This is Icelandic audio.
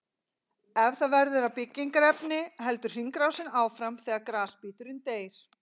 Ef það verður að byggingarefni heldur hringrásin áfram þegar grasbíturinn deyr.